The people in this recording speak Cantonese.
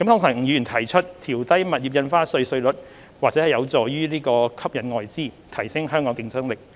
吳議員提出調低物業印花稅稅率或有助吸引外資，提升香港的競爭力。